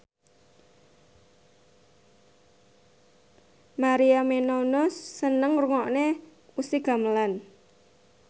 Maria Menounos seneng ngrungokne musik gamelan